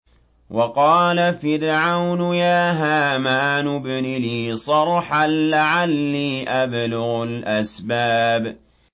وَقَالَ فِرْعَوْنُ يَا هَامَانُ ابْنِ لِي صَرْحًا لَّعَلِّي أَبْلُغُ الْأَسْبَابَ